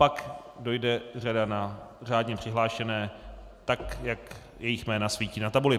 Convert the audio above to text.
Pak dojde řada na řádně přihlášené tak, jak jejich jména svítí na tabuli.